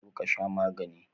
Zo ka sha magani.